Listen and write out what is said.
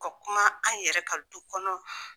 U ka kuma an yɛrɛ ka du kɔnɔ